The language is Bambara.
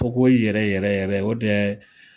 Fakohoye yɛrɛ yɛrɛ yɛrɛ o dɛ